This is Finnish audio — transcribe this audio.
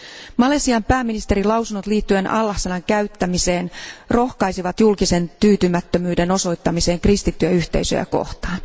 Malesian pääministerin lausunnot liittyen Allah sanan käyttämiseen rohkaisivat julkisen tyytymättömyyden osoittamiseen kristittyjä yhteisöjä kohtaan.